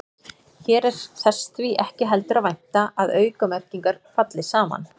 Hér er þess því ekki heldur að vænta að aukamerkingar falli saman.